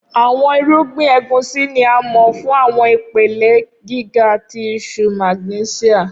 Awọn irugbin Egusi ni a mọ fun awọn ipele giga ti iṣuu magnẹsia.